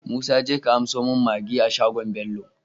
Musa jeka ka anso mun maggi a shagon bello